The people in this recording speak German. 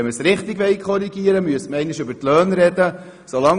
Wollte man das Problem richtig angehen, dann müsste man einmal darüber sprechen.